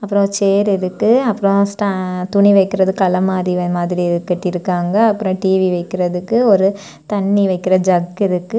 அப்புறம் சேர் இருக்கு அப்புறம் ஸ்டா துணி வைக்கிறதுக்கு அலமாரி மாதிரி கட்டி இருக்காங்க அப்புறம் டிவி வைக்கிறதுக்கு ஒரு தண்ணி வைக்கிற ஜக்கு இருக்கு.